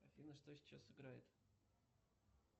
афина что сейчас играет